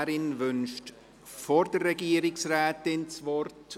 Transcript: Die Motionärin wünscht vor der Regierungsrätin das Wort.